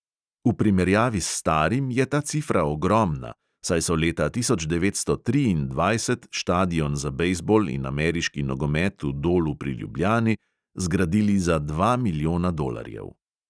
V primerjavi s starim je ta cifra ogromna, saj so leta tisoč devetsto triindvajset štadion za bejzbol in ameriški nogomet v dolu pri ljubljani zgradili za dva milijona dolarjev.